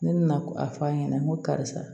Ne nana a fɔ a ɲɛna n ko karisa